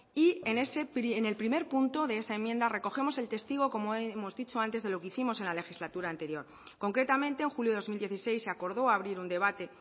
y en el primer punto de esa enmienda recogemos el testigo como hemos dicho antes de lo que hicimos en la legislatura anterior concretamente en julio de dos mil dieciséis se acordó abrir un debate